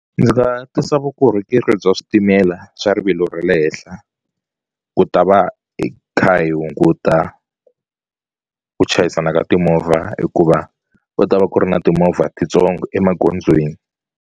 Ndzi nga tisa vukorhokeri bya switimela swa rivilo ra le henhla ku ta va hi kha hi hunguta ku chayisana ka timovha hikuva va ta va ku ri na timovha titsongo emagondzweni.